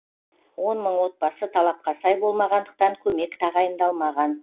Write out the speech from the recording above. он мың отбасы талапқа сай болмағандықтан көмек тағайындалмаған